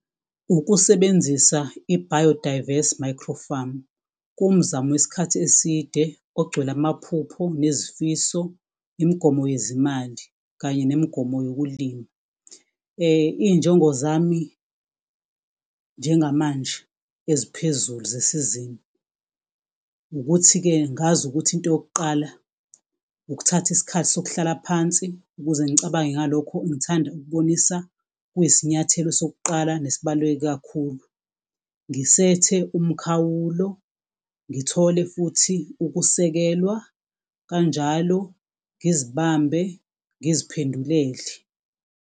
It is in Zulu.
Ukusebenzisa i-bio-diverse micro-farm, kuwumzamo wesikhathi eside, ogcwele amaphupho nezifiso. Imigomo yezezimali kanye nemigomo yokulima. Iy'njongo zami njengamanje eziphezulu zesizini. Ukuthi-ke ngazi ukuthi, into yokuqala ukuthatha isikhathi sokuhlala phansi. Ukuze ngicabange ngalokho engithanda ukubonisa kuyisinyathelo sokuqala nesibaluleke kakhulu. Ngisethele umkhawulo ngithole futhi ukusekelwa kanjalo ngizibambe ngiziphendulele.